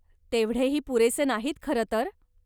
तेवढे ही पुरेसे नाहीत खरंतर.